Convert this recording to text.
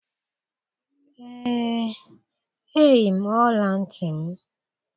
Ee, eyi m ọla ntị m.